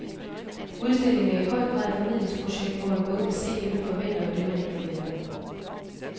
Udstillingen er i høj grad et formidlingsprojekt, hvor man både kan se det, man forventer, og det, man ikke forventer.